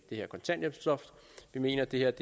det her kontanthjælpsloft vi mener at det her